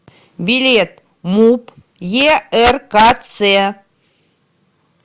билет муп еркц